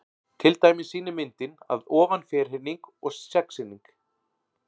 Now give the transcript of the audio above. Til dæmis sýnir myndin að ofan ferhyrning og sexhyrning.